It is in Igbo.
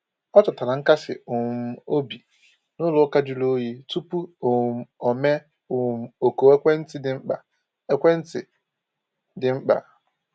O chọtara nkasi um obi n’ụlọ ụka jụrụ oyi tupu um o mee um oku ekwentị dị mkpa. ekwentị dị mkpa.